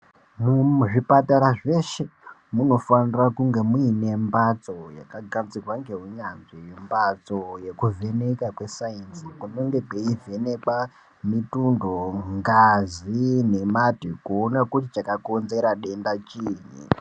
Muzvipatara zveshe munofanira kunge muine mbatso yakagadzirwa ngeunyanzvi mbatso yekuvheneka kwesainzi kunenge kweivhenekwa mutundo ngazi nemate kuona kuti chakonzera denda chii.